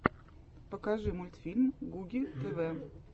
покажи мультфильм гуги тв